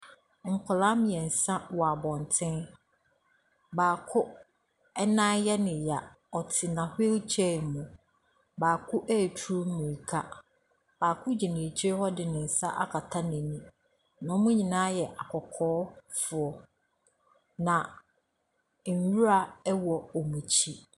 Nkwadaa mmiɛnsa wɔ abɔnten, baako nan yɛ ne ya, ɔtena wheelchair mu. Baako ɛretu mirika, baako gyina ɛkyi hɔ de ne nsa akata n’ani. Na wɔn nyina yɛ akɔkɔɔfoɔ. Na nwura wɔ wɔn akyi.